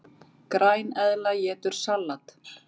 Græneðla étur salat!